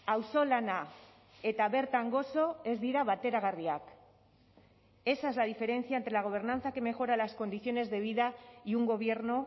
auzolana eta bertan gozo ez dira bateragarriak esa es la diferencia entre la gobernanza que mejora las condiciones de vida y un gobierno